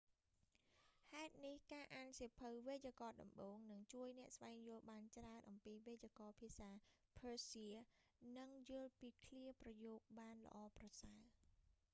ហេតុនេះ ការអានសៀវភៅវេយ្យាករណ៍ដំបូង នឹងជួយអ្នកស្វែងយល់បានច្រើនអំពីវេយ្យាករណ៍ភាសាភើសៀ និងយល់ពីឃ្លាប្រយោគបានល្អប្រសើរ